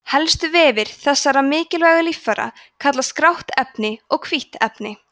helstu vefir þessara mikilvægu líffæra kallast grátt efni og hvítt efni